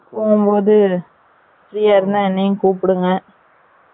போஹும் போது free ய இருந்தா என்னையும் கூபிடுங்க ticket போடுங்க